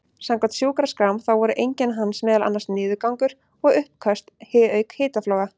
Samkvæmt sjúkraskrám þá voru einkenni hans meðal annars niðurgangur og uppköst auk hitafloga.